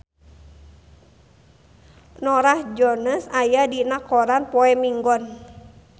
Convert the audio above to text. Norah Jones aya dina koran poe Minggon